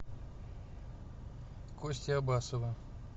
кости абасова